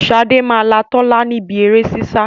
Sade máa là Tola níbí èrè sísá